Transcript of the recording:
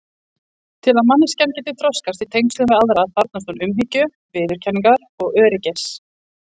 Til að manneskjan geti þroskast í tengslum við aðra þarfnist hún umhyggju, viðurkenningar og öryggis.